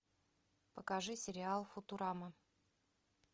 покажи сериал футурама